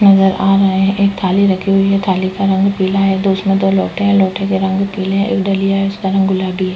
नजर आ रहा है। एक थाली रखी हुई है। थाली का रंग पीला है। उसमे दो लोटे है। लोटे का रंग पीला है। एक डलिया है। उसका रंग गुलाबी है।